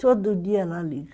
Todo dia ela liga.